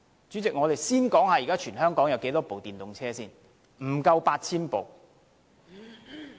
主席，我們先說現時全港有多少部電動車：不足 8,000 部。